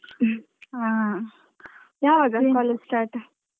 ಹಾ ಯಾವಾಗ college start ?